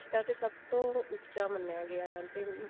ਰਿਸ਼ਤਾ ਤੇ ਸਭ ਤੋਂ ਉੱਚਾ ਮੰਨਿਆ ਗਿਆ